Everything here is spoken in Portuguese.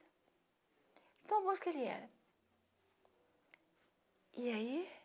Tão bons que ele era. Eai